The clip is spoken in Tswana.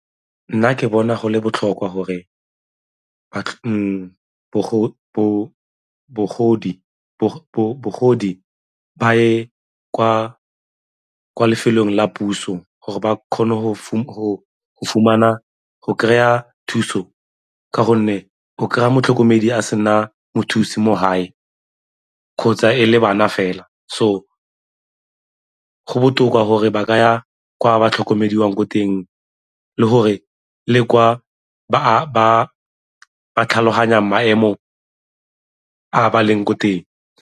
Nna ke bona go le botlhokwa gore ba ye kwa lefelong la puso gore ba kgone go kry-a thuso ka gonne o kry-a motlhokomedi a sena mothusi mo gae kgotsa e le bana fela. So, go botoka gore ba ka ya kwa batlhokomediwang ko teng le gore le kwa ba tlhaloganyang maemo a ba leng ko teng.